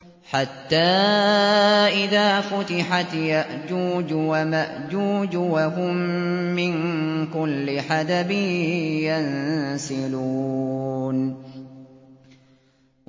حَتَّىٰ إِذَا فُتِحَتْ يَأْجُوجُ وَمَأْجُوجُ وَهُم مِّن كُلِّ حَدَبٍ يَنسِلُونَ